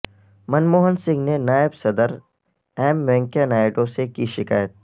منموہن سنگھ نے نائب صدر ایم وینکئیا نائیڈو سے کی شکایت